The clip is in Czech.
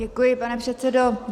Děkuji, pane předsedo.